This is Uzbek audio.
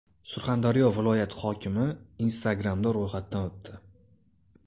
Surxondaryo viloyati hokimi Instagram’da ro‘yxatdan o‘tdi.